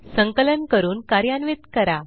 संकलन करून कार्यान्वित करा